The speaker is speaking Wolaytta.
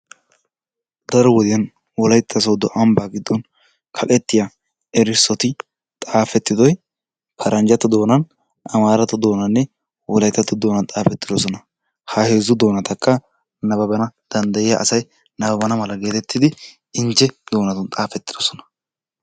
Daro wodiyaan wolaytta soodo ambba giddon ambbaa giddon kaqqetiya erissoti paranjjatoo doonan, amaratto doonanne Wolayttato doonan xaafetidoosona ha heezzu doonatakka eriyaa asay nababbana mala getettidi injje doonan xaafetidoosona.